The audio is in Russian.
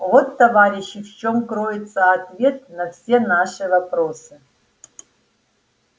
вот товарищи в чем кроется ответ на все наши вопросы